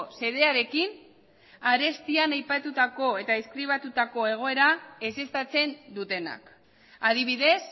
xedearekin arestian aipatutako eta deskribatutako egoera ezeztatzen dutenak adibidez